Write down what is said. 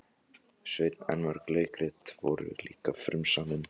Sveinn en mörg leikrit voru líka frumsamin.